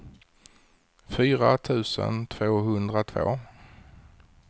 fyra tusen tvåhundratvå